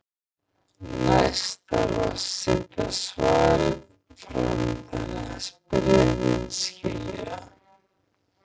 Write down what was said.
Næst þarf að setja svarið fram þannig að spyrjandinn skilji það.